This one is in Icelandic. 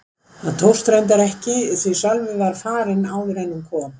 Það tókst reyndar ekki því Sölvi var farinn áður en hún kom.